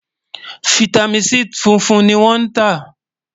fìtámín C fúnfún ní wón tá